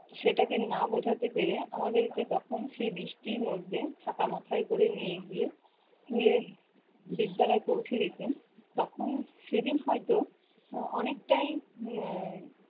সেটাকে না বোঝাতে পেরে আমাদেরকে তখন সে বৃষ্টির মধ্যে ছাতা মাথায় করে নিয়ে গিয়ে school এ বিদ্যালয়ে পৌঁছে দিতেন। তখন সেদিন হয়তো অনেকটাই আহ